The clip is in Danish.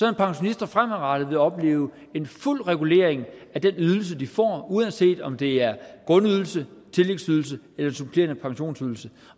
at pensionister fremadrettet vil opleve en fuld regulering af den ydelse de får uanset om det er en grundydelse tillægsydelse eller supplerende pensionsydelse